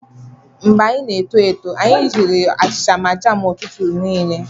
Mgbe anyị n'eto eto, anyị riri achịcha na jam ụtụtụ niile.